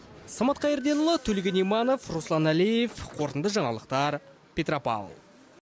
самат қайырденұлы төлеген иманов руслан әлиев қорытынды жаңалықтар петропавл